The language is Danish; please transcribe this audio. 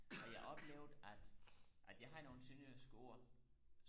og jeg oplevede at at jeg har nogle sønderjyske ord